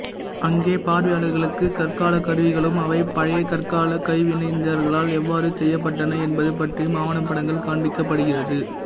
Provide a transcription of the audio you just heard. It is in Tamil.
அங்கே பார்வையாளர்களுக்கு கற்கால கருவிகளும் அவை பழையகற்கால கைவினைஞர்களால் எவ்வாறு செய்யப்பட்டன என்பது பற்றியும் ஆவணப்படங்கள் காண்பிக்கபடுகிறது